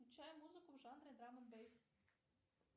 включай музыку в жанре драм энд бейс